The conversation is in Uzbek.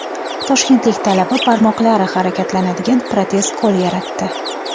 Toshkentlik talaba barmoqlari harakatlanadigan protez qo‘l yaratdi.